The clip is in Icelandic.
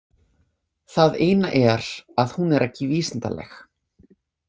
Það eina er að hún er ekki vísindaleg.